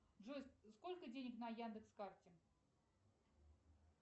джой сколько денег на яндекс карте